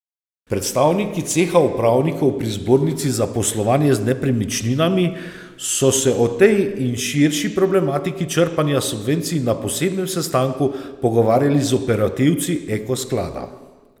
Predstavniki ceha upravnikov pri Zbornici za poslovanje z nepremičninami so se o tej in širši problematiki črpanja subvencij na posebnem sestanku pogovarjali z operativci Eko sklada.